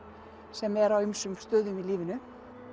sem er á ýmsum stöðum í lífinu